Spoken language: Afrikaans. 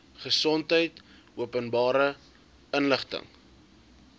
gesondheid openbare inligting